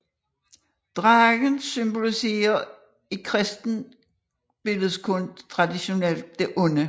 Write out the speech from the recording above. Dragen symboliserer i kristen billledkunst traditionelt det onde